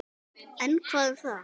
En hvað um það?